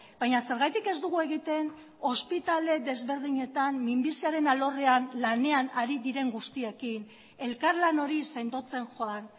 baina zergatik ez dugu egiten ospitale desberdinetan minbiziaren alorrean lanean ari diren guztiekin elkarlan hori sendotzen joan